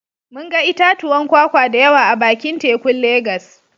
Mun ga itatuwan kwakwa da yawa a bakin tekun Legas